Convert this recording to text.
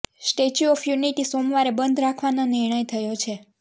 statue of unity સોમવારે બંધ રાખવાનો નિર્ણય થયો છે